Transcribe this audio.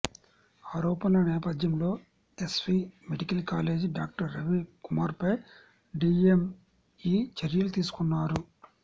ఆరోపణల నేపథ్యంలో SV medical college doctor Ravi కుమార్పై డీఎంఈ చర్యలు తీసుకున్నారు